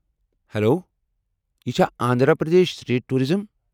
Hello, یہ چھا Andhra Pradesh state tourism?